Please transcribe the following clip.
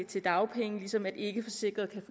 til dagpenge ligesom en ikkeforsikret kan